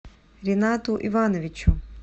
ринату ивановичу